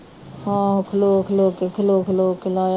ਹਮ ਖਲੋ ਖਲੋ ਕੇ ਖਲੋ ਖਲੋ ਕੇ ਲਾਇਆ